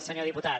senyor diputat